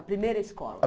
A primeira escola.